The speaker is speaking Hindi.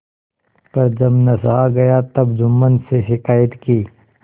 पर जब न सहा गया तब जुम्मन से शिकायत की